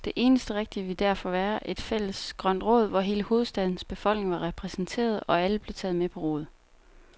Det eneste rigtige ville derfor være et fælles grønt råd, hvor hele hovedstadens befolkning var repræsenteret, og alle blev taget med på råd.